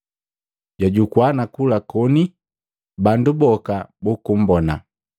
Jwajukua na kula koni bandu boka bukumbona.